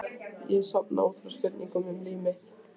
Ég sofna út frá spurningum um líf mitt.